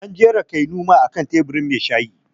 An jera Keanu ma a kan teburin mai shayi